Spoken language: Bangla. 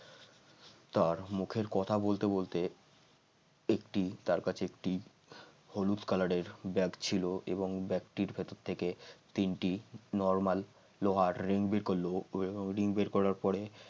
তার মুখের কথা বলতে বলতে একটি তার কাছে একটি হলুদ কালারের ব্যাগ ছিল এবং ব্যাগটির ভিতর থেকে তিনটি normal লোহার ring বের করল ওই লোহার ring বের করার পরে